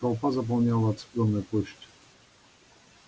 толпа заполняла оцепленную площадь